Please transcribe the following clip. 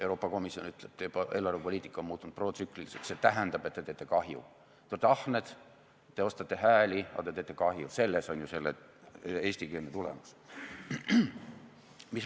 Euroopa Komisjon ütleb: teie eelarvepoliitika on muutunud protsükliliseks, see tähendab, et te teete kahju, te olete ahned, te ostate hääli, aga te teete kahju, selles on ju eestikeelne tulemus.